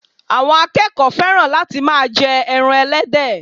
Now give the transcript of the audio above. àwọn akẹẹkọ fẹ́ràn láti ma jẹ ẹran ẹlẹ́dẹ̀